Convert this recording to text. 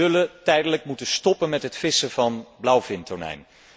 We zullen tijdelijk moeten stoppen met het vissen op blauwvintonijn.